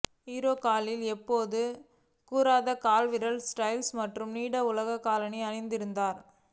hero காலில் எப்போதும் கூரான கால்விரல் ஸ்டைலான மற்றும் நீடித்த உலோக காலணிகள் அணிந்திருந்தார்